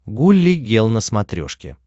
гулли гел на смотрешке